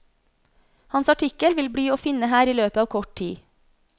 Hans artikkel vil bli å finne her i løpet av kort tid.